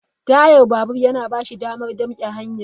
Taya babur yana ba shi damar damke hanyar.